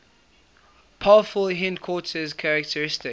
powerful hindquarters characteristic